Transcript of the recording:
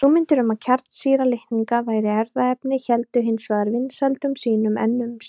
Hugmyndir um að kjarnsýra litninga væri erfðaefni héldu hins vegar vinsældum sínum enn um sinn.